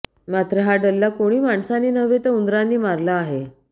मात्र हा डल्ला कोणी माणसांनी नव्हे तर उंदरांनी मारला आहे